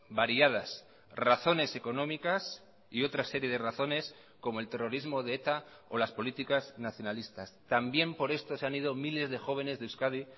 variadas razones económicas y otra serie de razones como el terrorismo de eta o las políticas nacionalistas también por esto se han ido miles de jóvenes de euskadi